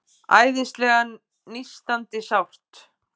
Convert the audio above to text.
Æðislega nístandi sárt.